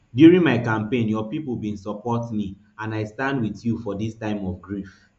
during my campaign your pipo bin support me and i stand wit you for dis time of grief